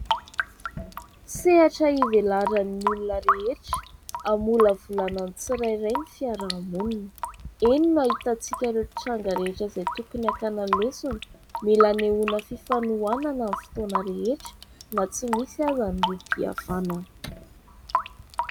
Sehatra hivelaran'ny olona rehetra, hamolavolana ny tsirairay ny fiarahamonina. Eny no ahitan-tsika ireo tranga rehetra izay tokony hakana lesona. Mila anehoana fifanohanana amin'ny fotoana rehetra na tsy misy aza ny rohim-pihavanana.